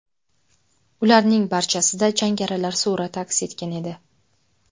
Ularning barchasida jangarilar surati aks etgan edi.